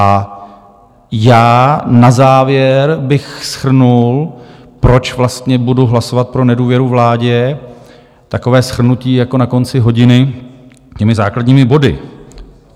A já na závěr bych shrnul, proč vlastně budu hlasovat pro nedůvěru vládě, takové shrnutí jako na konci hodiny těmi základními body.